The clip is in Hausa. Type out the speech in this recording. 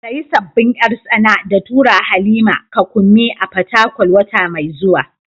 Sayi sabbin yar tsana da turawa Halima ka Kunmi a Fatakwal wata mai zuwa.